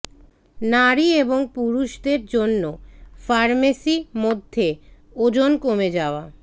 নারী এবং পুরুষদের জন্য ফার্মেসী মধ্যে ওজন কমে যাওয়া